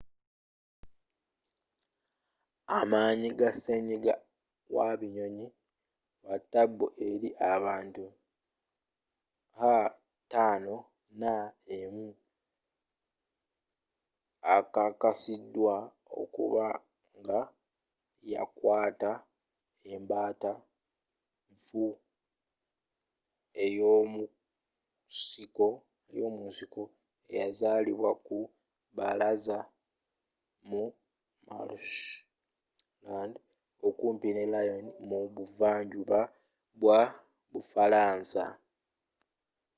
amanyi ga senyiga wa binyonyi wa taabu eri abantu h5n1 ekakasiddwa okuba nga yakwaata embaata enfu eyo'munsiko eyazulibwa ku baalaza mu marshland okumpi ne lyon mu buva njuba bwa bufaransa